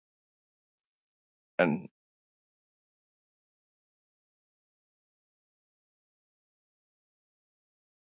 Lillý: En eru þetta einhverjar verulegar kjarabætur sem eru þarna inni?